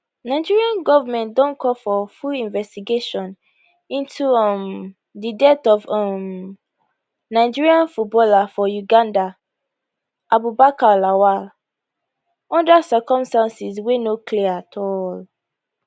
nigeria goment don call for full investigation into um di death of um nigerian footballer for uganda abubakar lawal under circumstances wey no clear at all